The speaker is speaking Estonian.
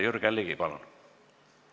Jürgen Ligi, palun!